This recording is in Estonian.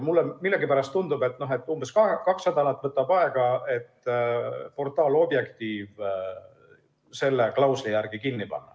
Mulle millegipärast tundub, et umbes kaks nädalat võtaks aega, et portaal Objektiiv selle klausli järgi kinni panna.